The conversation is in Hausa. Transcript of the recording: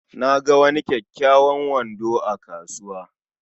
Na ga wani kyakkyawan kwando a kasuwa